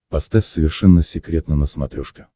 поставь совершенно секретно на смотрешке